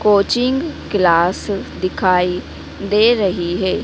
Coaching class दिखाई दे रही है।